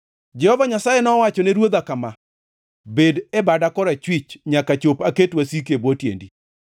Jehova Nyasaye nowachone Ruodha kama: “Bed e bada korachwich, nyaka chop aket wasiki e bwo tiendi.”